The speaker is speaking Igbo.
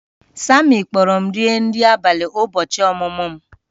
Sammy kpọọrọ m rie nri abalị ụbọchị ọmụmụ m